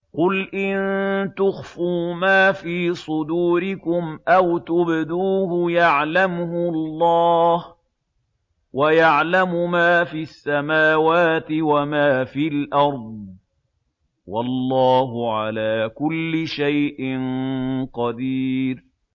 قُلْ إِن تُخْفُوا مَا فِي صُدُورِكُمْ أَوْ تُبْدُوهُ يَعْلَمْهُ اللَّهُ ۗ وَيَعْلَمُ مَا فِي السَّمَاوَاتِ وَمَا فِي الْأَرْضِ ۗ وَاللَّهُ عَلَىٰ كُلِّ شَيْءٍ قَدِيرٌ